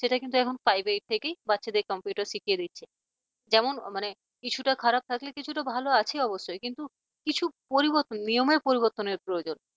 সেটা কিন্তু এখন five eight থেকেই বাচ্চাদেরকে computer শিখিয়ে দিচ্ছে। যেমন মানে কিছুটা খারাপ থাকলে কিছুটা ভালো আছে অবশ্যই কিন্তু কিছু পরিবর্তন নিয়মের পরিবর্তনের প্রয়োজন।